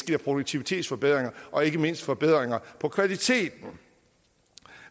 giver produktivitetsforbedringer og ikke mindst forbedringer på kvaliteten